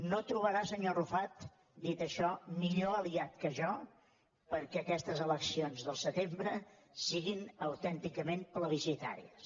no trobarà senyor arrufat dit això millor aliat que jo perquè aquestes eleccions del setembre siguin autènticament plebiscitàries